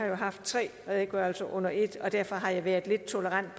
jo haft tre redegørelser under ét og derfor har jeg været lidt tolerant